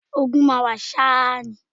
Ogun máa wà ṣá ni